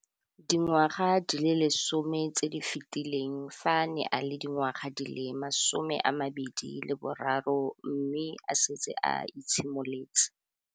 Dingwaga di le 10 tse di fetileng, fa a ne a le dingwaga di le 23 mme a setse a itshimoletse.